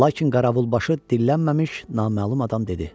Lakin Qaravulbaşı dillənməmiş naməlum adam dedi: